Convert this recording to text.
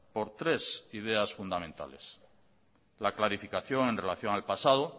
por tres ideas fundamentales la clarificación en relación al pasado